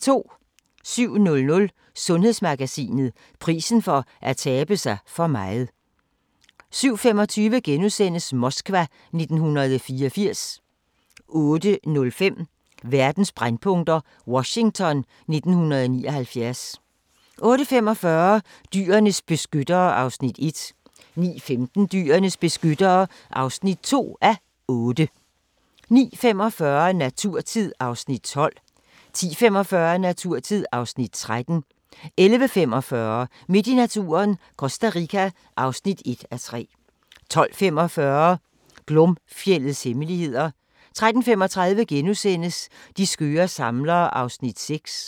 07:00: Sundhedsmagasinet: Prisen for at tabe sig for meget 07:25: Moskva 1984 * 08:05: Verdens brændpunkter: Washington 1979 08:45: Dyrenes beskyttere (1:8) 09:15: Dyrenes beskyttere (2:8) 09:45: Naturtid (Afs. 12) 10:45: Naturtid (Afs. 13) 11:45: Midt i naturen – Costa Rica (1:3) 12:45: Glomfjeldets hemmeligheder 13:35: De skøre samlere (6:8)*